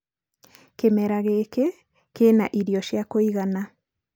kĩmera gĩĩkĩ kĩ na irio cia kũigana .